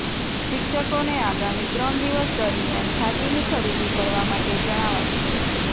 શીક્ષકોને આગામી ત્રણ દિવસ દરમિયાન ખાદીની ખરીદી કરવા માટે જણાવાયું છે